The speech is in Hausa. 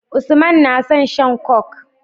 Usman na son shan coke